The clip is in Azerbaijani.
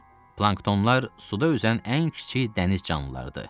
Planktonlar suda üzən ən kiçik dəniz canlılarıdır.